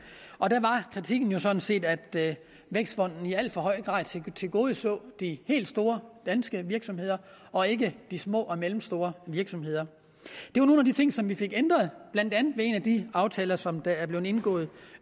og der var kritikken jo sådan set at vækstfonden i al for høj grad tilgodeså de helt store danske virksomheder og ikke de små og mellemstore virksomheder det var nogle af de ting som vi fik ændret blandt andet ved en af de aftaler som der blev indgået